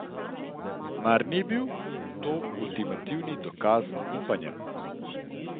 Mar ni bil to ultimativni dokaz upanja?